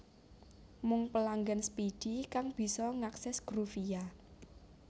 Mung pelanggan Speedy kang bisa ngakses Groovia